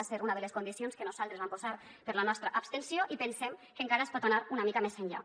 va ser una de les condicions que nosaltres vam posar per a la nostra abstenció i pensem que encara es pot anar una mica més enllà